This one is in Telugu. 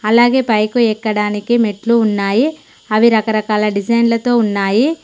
అలాగే పైకి ఎక్కడానికి మెట్లు ఉన్నాయి అవి రకరకాల డిజైన్లతో ఉన్నాయి.